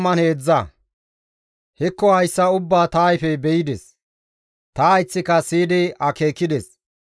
«Hekko hayssa ubbaa ta ayfey be7ides; ta hayththika siyidi akeekides.